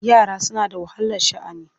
Yara suna da wahalar sha'ani.